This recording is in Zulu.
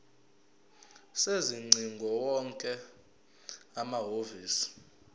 sezingcingo wonke amahhovisi